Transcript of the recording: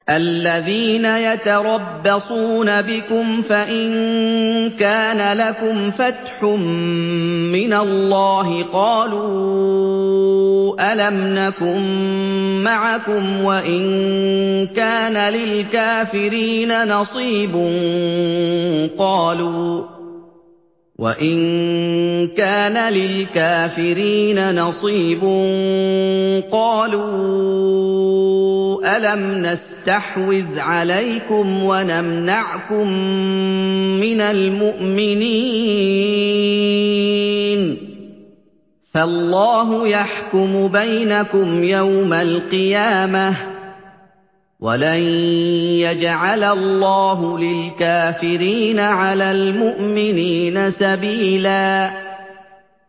الَّذِينَ يَتَرَبَّصُونَ بِكُمْ فَإِن كَانَ لَكُمْ فَتْحٌ مِّنَ اللَّهِ قَالُوا أَلَمْ نَكُن مَّعَكُمْ وَإِن كَانَ لِلْكَافِرِينَ نَصِيبٌ قَالُوا أَلَمْ نَسْتَحْوِذْ عَلَيْكُمْ وَنَمْنَعْكُم مِّنَ الْمُؤْمِنِينَ ۚ فَاللَّهُ يَحْكُمُ بَيْنَكُمْ يَوْمَ الْقِيَامَةِ ۗ وَلَن يَجْعَلَ اللَّهُ لِلْكَافِرِينَ عَلَى الْمُؤْمِنِينَ سَبِيلًا